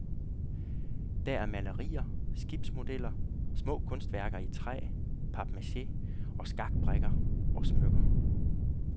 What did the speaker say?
Der er malerier, skibsmodeller, små kunstværker i træ, papmaché og skakbrikker og smykker.